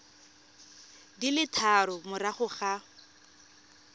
di le tharo morago ga